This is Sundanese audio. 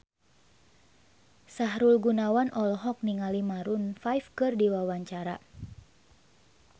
Sahrul Gunawan olohok ningali Maroon 5 keur diwawancara